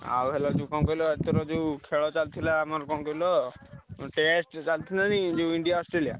ଆଉ ହେଲା ଯୋଉ କଣ କହିଲ ଏଥର ଯୋଉ ଖେଳ ଚାଲିଥିଲା ଆମର କଣ କହିଲ test ଚାଲିଥିଲା ଯୋଉ India, Australia ।